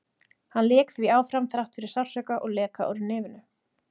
Hann lék því áfram þrátt fyrir sársauka og leka úr nefinu.